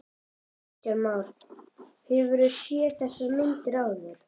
Kristján Már: Hefurðu séð þessar myndir áður?